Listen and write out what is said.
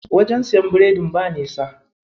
Wajen siyan biredin ba nisa.